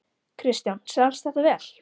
Kristján: Selst þetta vel?